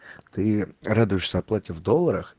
ты радуешься оплате в долларах